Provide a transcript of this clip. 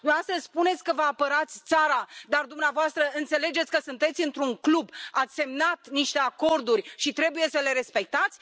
Dumneavoastră spuneți că vă apărați țara, dar dumneavoastră înțelegeți că sunteți într un club, ați semnat niște acorduri și trebuie să le respectați?